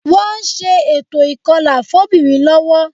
Wọ́n ń ṣe ètò ìkọlà fóbìnrin lọ́wọ́